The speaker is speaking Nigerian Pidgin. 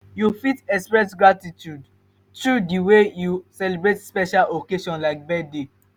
you fit express gratitude through di way you celebrate special occasion like birthday.